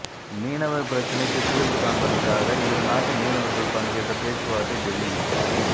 மீனவர் பிரச்சினைக்கு தீர்வு காண்பதற்காக இரு நாட்டு மீனவர்கள் பங்கேற்ற பேச்சுவார்த்தை டெல்லியில்